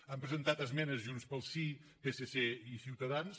han presentat esmenes junts pel sí psc i ciutadans